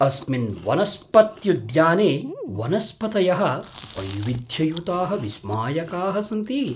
अस्मिन् वनस्पत्युद्याने वनस्पतयः वैविध्ययुताः विस्मायकाः सन्ति।